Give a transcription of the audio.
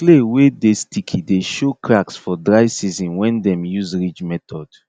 clay wey dey sticky dey show cracks for dry season when dem use ridge method